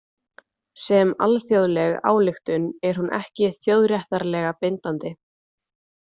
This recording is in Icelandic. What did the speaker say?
Sem alþjóðleg ályktun er hún ekki þjóðréttarlega bindandi.